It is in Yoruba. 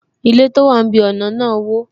Ilé tó wà ní ibi ọna náà wo